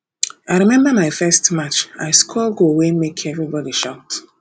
i um remember my first match i um score goal wey make everybody shout